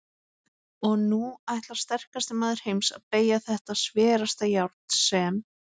Og nú ætlar sterkasti maður heims að BEYGJA ÞETTA SVERASTA JÁRN SEM